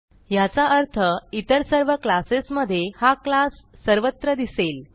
ह्याचा अर्थ इतर सर्व क्लासेस मधे हा क्लास सर्वत्र दिसेल